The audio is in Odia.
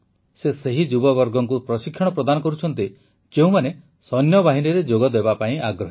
ସେ ସେହି ଯୁବବର୍ଗଙ୍କୁ ପ୍ରଶିକ୍ଷଣ ପ୍ରଦାନ କରୁଛନ୍ତି ଯେଉଁମାନେ ସୈନ୍ୟବାହିନୀରେ ଯୋଗ ଦେବା ପାଇଁ ଆଗ୍ରହୀ